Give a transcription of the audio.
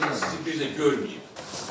Ola bilsin ki, sizi bir də görməyim.